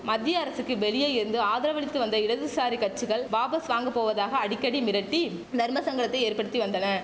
மத்திய அரசுக்கு பெளியே இருந்து ஆதரவளித்து வந்த இடதுசாரி கச்சிகள் வாபஸ் வாங்கப்போவதாக அடிக்கடி மிரட்டி நர்ம சங்கடத்தை ஏற்படுத்தி வந்தன